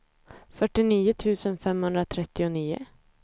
fyrtionio tusen femhundratrettionio